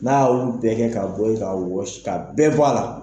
N'a y' olu bɛɛ kɛ ka bɔ yen ka wɔsi ka bɛɛ bɔ a la.